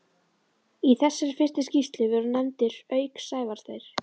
Í þessari fyrstu skýrslu voru nefndir, auk Sævars, þeir